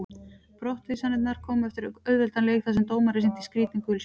Brottvísanirnar komu eftir auðveldan leik þar sem dómarinn sýndi skrítin gul spjöld.